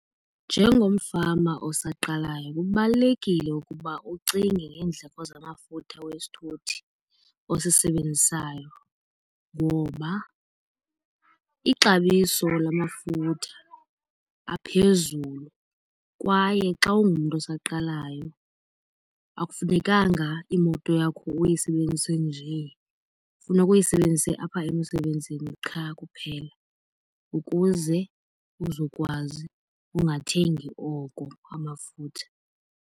Njengomfama osaqalayo kubalulekile ukuba ucinge ngeendleko zamafutha wesithuthi osisebenzisayo. Ngoba ixabiso lamafutha aphezulu kwaye xa ungumntu osaqalayo akufunekanga imoto yakho uyisebenzise njee, funeka uyisebenzise apha emsebenzini qha kuphela ukuze uzokwazi ungathengi oko amafutha.